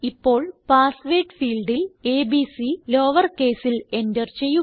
ഇപ്പോൾ പാസ്വേർഡ് ഫീൽഡിൽ ABC lower കേസിൽ എന്റർ ചെയ്യുക